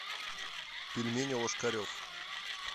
пельмени ложкарев